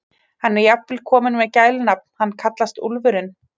Hann er jafnvel kominn með gælunafn, hann kallast Úlfurinn.